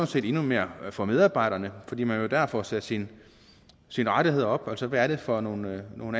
set endnu mere for medarbejderne fordi man jo dér får sat sine rettigheder op altså hvad er det for nogle nogle